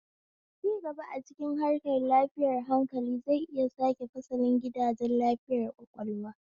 Cigaba a cikin harkar lafiyar hankali zai iya sake fasalin gidajen lafiyar ƙwaƙwalwa.